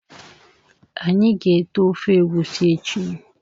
Anyị ga- ete ofe egwusi echi